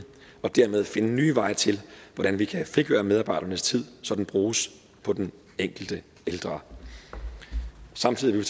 og dermed finde nye veje til hvordan vi kan frigøre medarbejdernes tid så den bruges på den enkelte ældre samtidig vil